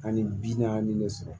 Ani bi naani de sɔrɔ